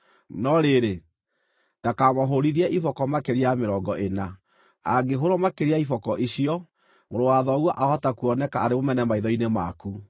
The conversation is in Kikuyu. no rĩrĩ, ndakamũhũũrithie iboko makĩria ya mĩrongo ĩna. Angĩhũũrwo makĩria ya iboko icio, mũrũ wa thoguo aahota kuoneka arĩ mũmene maitho-inĩ maku.